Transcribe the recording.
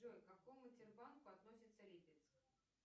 джой к какому тербанку относится липецк